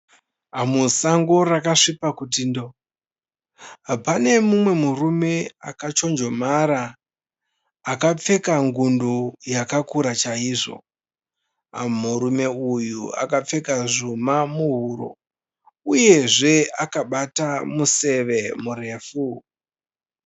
Musango rakasviba kuti ndoo. Pane murume akachonjomara akapfeka ngundu yakakura chaizvo. Murume uyu akapfeka zvuma muhuro uyezve akabata museve murefu.